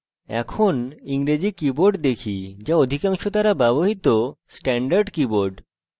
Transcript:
এখন আমরা ইংরেজি keyboard দেখি যা আমাদের অধিকাংশ দ্বারা ব্যবহৃত standard keyboard